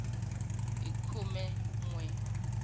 hi khume n we wa